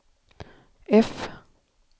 F